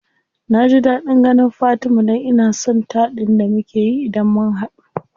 Naji daɗin ganin fatima dan ina son taɗin da mukeyi idan mun hadu.